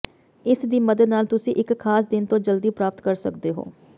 ਇਸ ਦੀ ਮਦਦ ਨਾਲ ਤੁਸੀਂ ਇੱਕ ਖਾਸ ਦਿਨ ਤੋਂ ਜਲਦੀ ਪ੍ਰਾਪਤ ਕਰ ਸਕਦੇ ਹੋ